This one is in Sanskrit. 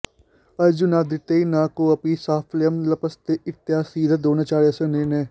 अर्जुनादृते न कोऽपि साफल्यं लप्स्यते इत्यासीद् द्रोणाचार्यस्य निर्णयः